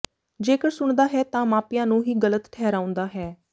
ਜੇਕਰ ਸੁਣਦਾ ਹੈ ਤਾਂ ਮਾਪਿਆਂ ਨੂੰ ਹੀ ਗਲਤ ਠਹਿਰਾਉਂਦਾ ਹੈ